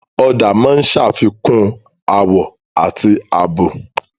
Ọ̀dà máa ń ṣe àfikún àwọ̀ àti ààbò.